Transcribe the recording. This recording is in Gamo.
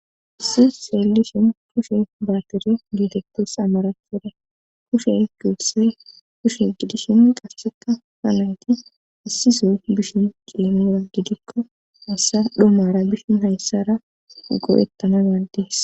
issi xellishin kushe baatirya geetettis amarathora kushe guulise kushe gidishin qasseka hanayti issisoy bishin geemura gidikko hayssa dhomara bishin hayssara go7ettananadies